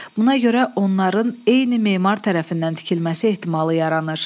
Buna görə onların eyni memar tərəfindən tikilməsi ehtimalı yaranır.